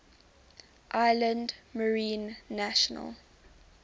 islands marine national